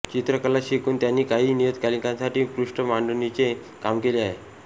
चित्रकला शिकून त्यांनी काही नियतकालिकांसाठी पृष्ठ मांडणीचे काम केले आहे